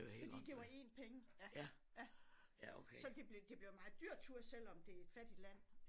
Fordi det var 1 penge ja ja så det blev det blev en meget dyr tur selvom det er et fattigt land